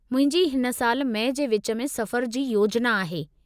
मुंहिंजी हिन साल मई जे विच में सफ़र जी योजना आहे।